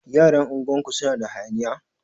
Yaran unguwar ku suna da hayaniya?